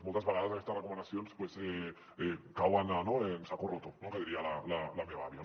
moltes vegades aquestes recomanacions cauen en saco roto no que diria la meva àvia